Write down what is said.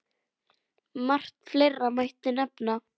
Margt fleira mætti nefna.